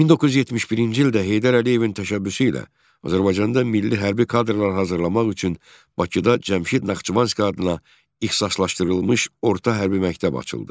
1971-ci ildə Heydər Əliyevin təşəbbüsü ilə Azərbaycanda milli hərbi kadrlar hazırlamaq üçün Bakıda Cəmşid Naxçıvanski adına ixtisaslaşdırılmış orta hərbi məktəb açıldı.